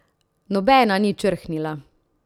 Nobena ni črhnila.